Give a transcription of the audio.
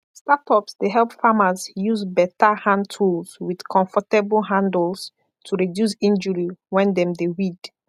startups dey help farmers use better hand tools with comfortable handles to reduce injury when dem dey weed